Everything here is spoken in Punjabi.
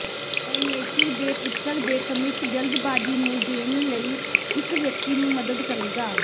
ਪਰਮੇਸ਼ੁਰ ਦੇ ਪੁੱਤਰ ਦੇ ਕਮਿੱਟ ਜਲਦਬਾਜ਼ੀ ਨੂੰ ਦੇਣ ਲਈ ਇਕ ਵਿਅਕਤੀ ਨੂੰ ਮਦਦ ਕਰੇਗਾ